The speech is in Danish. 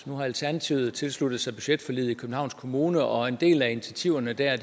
nu har alternativet tilsluttet sig budgetforliget i københavns kommune og en del af initiativerne der